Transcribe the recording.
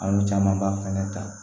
An ye camanba fɛnɛ ta